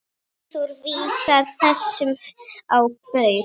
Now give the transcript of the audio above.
Eyþór vísar þessu á bug.